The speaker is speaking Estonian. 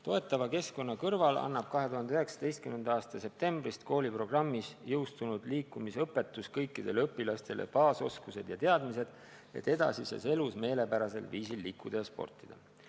Toetava keskkonna kõrval annab 2019. aasta septembris kooliprogrammis jõustunud liikumisõpetus kõikidele õpilastele baasoskused ja teadmised, kuidas edasises elus meelepärasel viisil liikuda ja sportida.